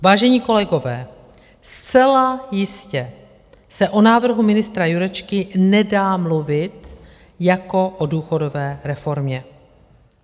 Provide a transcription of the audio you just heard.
Vážení kolegové, zcela jistě se o návrhu ministra Jurečky nedá mluvit jako o důchodové reformě.